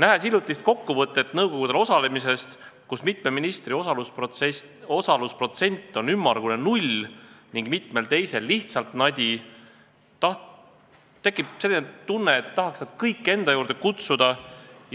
Näinud hiljutist kokkuvõtet nõukogudel osalemisest – mitme ministri osalusprotsent on ümmargune null ning mitmel teisel lihtsalt nadi –, tekkis selline tunne, et tahaks nad kõik enda juurde kutsuda